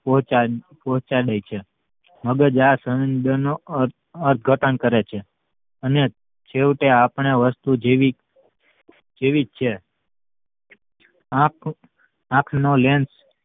પોચા ~પોંહચાડે છે મગજ આ સંદેશાનું અર્થઘટન કરે છે અને છેવટે આપડે વસ્તુ જેવી જેવી જ છે આંખ આંખનો lens